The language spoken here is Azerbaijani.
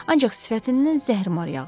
Ancaq sifətindən zəhrimar yağırdı.